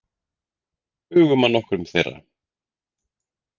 Hugum að nokkrum þeirra.